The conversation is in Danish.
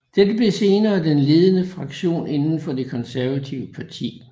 Dette blev senere den ledende fraktion inden for det konservative parti